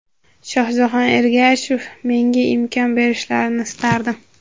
Shohjahon Ergashev: Menga imkon berishlarini istardim.